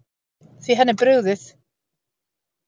Því henni er brugðið.